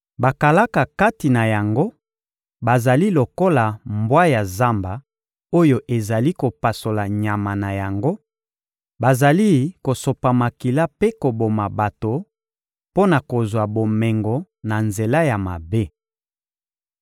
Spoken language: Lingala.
Bakalaka kati na yango bazali lokola mbwa ya zamba oyo ezali kopasola nyama na yango, bazali kosopa makila mpe koboma bato mpo na kozwa bomengo na nzela ya mabe.